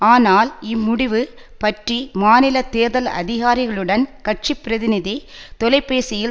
ஆனால் இம்முடிவு பற்றி மாநில தேர்தல் அதிகாரிகளுடன் கட்சி பிரதிநிதி தொலைபேசியில்